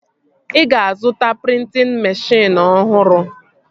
Ị ga-azụta prịntịn meshịn ọhụrụ?